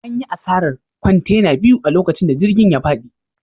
An yi asarar kwantena biyu a lokacin da jirgin ya fadi.